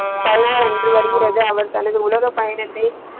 பதினாறு அன்று வருகிறது அவர் தனது உலக பயணத்தை.